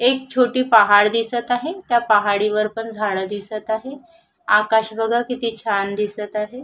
एक छोटी पहाड दिसत आहे त्या पहाडीवरती पण झाड दिसत आहे आकाश बघा किती छान दिसत आहे.